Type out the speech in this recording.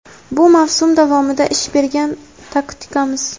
Bu mavsum davomida ish bergan taktikamiz.